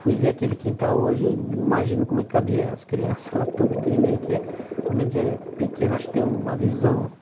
Fui ver aquele quintal hoje e imagino como é que cabia as crianças lá, tão pequenininho que é. Quando a gente é pequeno, acho que tem uma visão